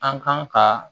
An kan ka